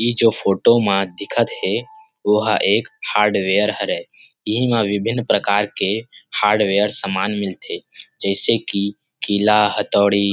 इ जो फोटो मा दिखत हे ओहा एक हार्डवेयर हरे इहि मा विभिन प्रकार के हार्डवेयर सामान मिलथे जैसे की किला हथोड़ी